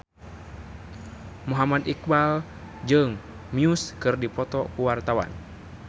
Muhammad Iqbal jeung Muse keur dipoto ku wartawan